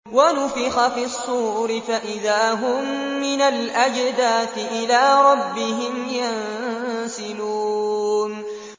وَنُفِخَ فِي الصُّورِ فَإِذَا هُم مِّنَ الْأَجْدَاثِ إِلَىٰ رَبِّهِمْ يَنسِلُونَ